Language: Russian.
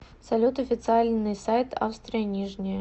салют официальный сайт австрия нижняя